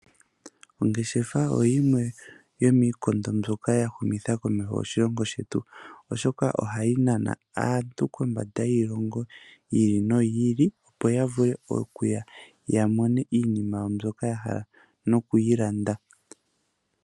Ongeshefa oyo yimwe yomiikondo mbyoka ya humitha komeho oshilongo shetu komeho, oshoka ohaya nana aantu kondje yiilongo yi ili noyi ili opo ya vule okuya yamone iinima yawo mbyoka ya hala noku yi landa.